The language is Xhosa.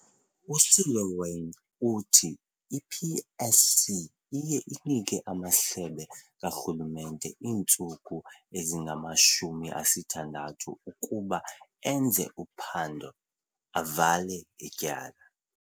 USeloane uthi i-PSC iye inike amasebe karhulumente iintsuku ezingama-60 ukuba enze uphando, avale ityala.